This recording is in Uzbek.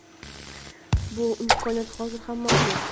Bu imkoniyat hozir ham mavjud.